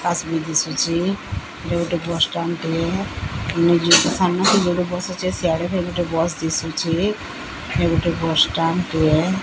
ବସ ଗୋଟେ ଆସୁଛି ଦିଶୁଛି ବସ ଷ୍ଟାଣ୍ଡ ଟିଏ।